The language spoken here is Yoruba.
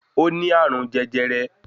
Ó ní àrùn jẹjẹrẹ